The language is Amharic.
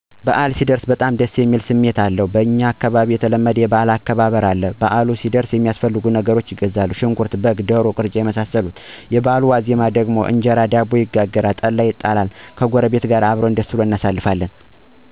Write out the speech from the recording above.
በአል ሲደርስ በጣም ደስ የሚል ስሜት አለዉ። በኛ አካባቢ የተለመዱ እና ለበአል የማይቀሩ ነገሮች አሉ። እነሱም በአሉ ሊደርስ ሲል ለበአሉ የሚያስፈልጉ ነገሮችን በመግዛት እንጀምራለን። ለምሳሌ ሽንኩርት፣ በግ ወይም ቅርጫ፣ የዳቦ ዱቄት የመሳሰሉትን እንገዛለን። ልብስ እናጥባለን፣ የበቤታችንን እቃ ከበፊቱ በተለየ መልኩ እናጥባለን፣ ቤታችን እናፀዳለን። የበአሉ ድራር ደግሞ እንጀራ እና ዳቦ ይጋገራል፣ ጠላ ይጠመቃል። የበአሉ አለት ቤት ያፈራዉን ሰርተን ቤተሰብ እና ጉረቤት ጋር ተሰባስበን እየተጨዋወትን አየበላን አየጠጣን ደስ ብሉን እናሳልፍለን